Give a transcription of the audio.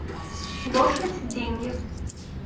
лошадь деньги